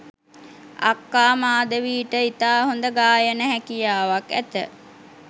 අක්කා මාධවීට ඉතා හොඳ ගායන හැකියාවක් ඇත